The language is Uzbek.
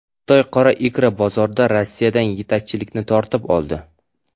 Xitoy qora ikra bozorida Rossiyadan yetakchilikni tortib oldi.